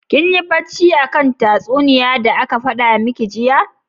Kinyi bacci akan tatsunniya da aka fada miki jiya?